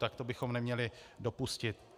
Tak to bychom neměli dopustit.